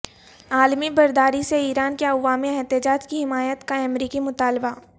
عالمی برادری سے ایران کے عوامی احتجاج کی حمایت کا امریکی مطالبہ